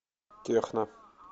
техно